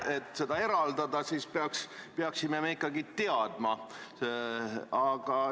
Et seda eraldada, siis peaksime me ikkagi teadma.